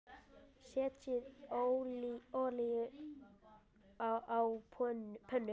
Setjið olíu á pönnu.